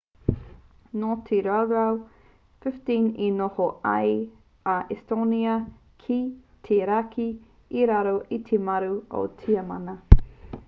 nō te rautau 15 i noho ai a estonia ki te raki i raro i te maru o tiamana